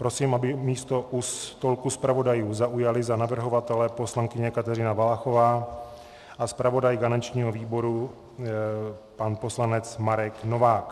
Prosím, aby místo u stolku zpravodajů zaujali za navrhovatele poslankyně Kateřina Valachová a zpravodaj garančního výboru pan poslanec Marek Novák.